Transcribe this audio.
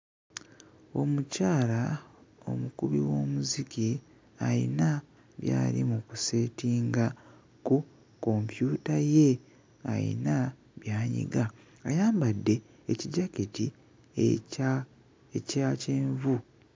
Omukyala omukubi w'omuziki ayina by'ali mu kuseetinga ku kompyuta ye ayina by'anyiga ayambadde ekijaketi ekya ekya kyenvu.